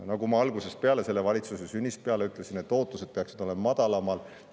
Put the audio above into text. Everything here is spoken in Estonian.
Nagu ma algusest peale, selle valitsuse sünnist peale olen öelnud, peaksid ootused olema madalamal.